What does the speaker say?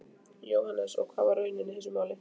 Jóhannes: Og var það raunin í þessu máli?